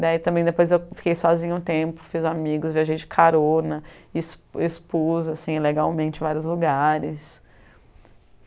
Daí também depois eu fiquei sozinha um tempo, fiz amigos, viajei de carona, ex expus legalmente vários lugares.